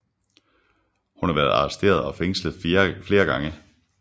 Hun har været arresteret og fængslet flere gange